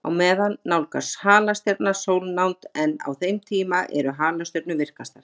Á meðan nálgast halastjarnan sólnánd, en á þeim tíma eru halastjörnur virkastar.